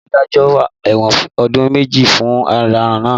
Adájọ́ dájọ́ ẹ̀wọ̀n ọdún méje fún ọ̀daràn náà